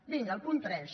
vinga el punt tres